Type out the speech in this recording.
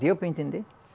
Deu para entender?